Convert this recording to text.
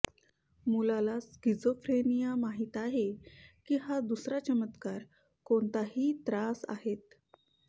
मुलाला स्क्रीझोफ्रेनिया माहीत आहे की हा दुसरा चमत्कार कोणत्याही त्रास आहेत